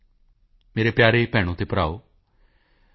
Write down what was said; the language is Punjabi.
ਮੇਰੇ ਪਿਆਰੇ ਭੈਣੋਭਰਾਵੋ ਮੈਂ ਟੀ